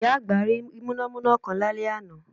Ìyá àgbà rí múnámúná kan lálẹ́ àná